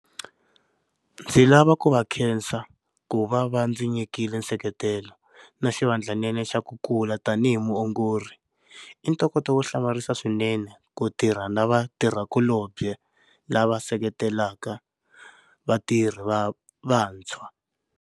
Ndzi lava ku va khensa ku va va ndzi nyikile nseketelo na xivandlanene xa ku kula tanihi muongori. I ntokoto wo hlamarisa swinene ku tirha na vatirhikulobye lava seketelaka vatirhi va vantshwa.